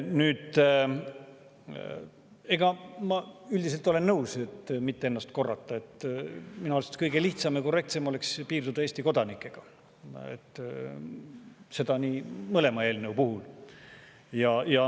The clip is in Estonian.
Aga ma üldiselt olen nõus – et mitte ennast korrata –, et kõige lihtsam ja korrektsem oleks piirduda Eesti kodanikega, seda mõlema eelnõu puhul.